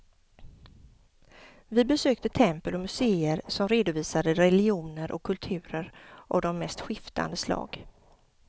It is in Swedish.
Vi besökte tempel och museer som redovisade religioner och kulturer av de mest skiftande slag.